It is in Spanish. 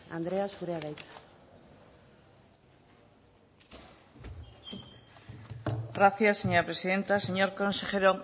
andrea zurea da hitza gracias señora presidenta señor consejero